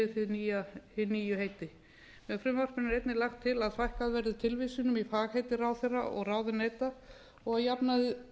samræmis við hin nýju heiti með frumvarpinu er einnig lagt til að fækkað verði tilvísunum í fagheiti ráðherra og ráðuneyta og að jafnaði